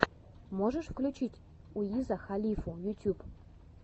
можешь включить уиза халифу ютюб